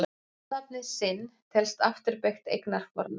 Fornafnið sinn telst afturbeygt eignarfornafn.